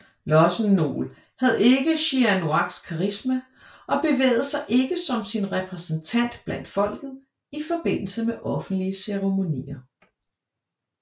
Lossen Nol havde ikke Sihanouks karisma og bevægede sig ikke som sin repræsentant blandt folket i forbindelse med offentlige ceremonier